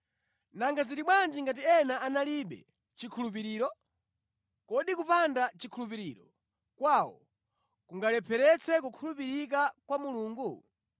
Nanga zili bwanji ngati ena analibe chikhulupiriro? Kodi kupanda chikhulupiriro kwawo kukanalepheretsa kukhulupirika kwa Mulungu?